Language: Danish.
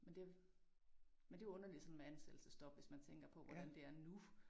Men det men det jo underligt sådan med ansættelsesstop hvis man tænker på hvordan det er nu